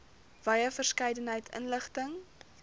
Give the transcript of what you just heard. wye verskeidenheid inligting